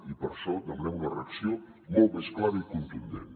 i per això demanem una reacció molt més clara i contundent